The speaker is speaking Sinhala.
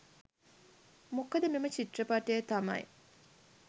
මොකද මෙම චිත්‍රපටය තමයි